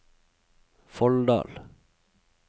Folldal